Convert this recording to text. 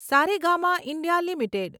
Saregama India limited